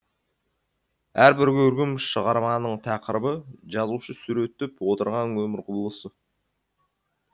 әрбір көркем шығарманың тақырыбы жазушы суреттеп отырған өмір құбылысы